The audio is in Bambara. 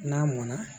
N'a mɔnna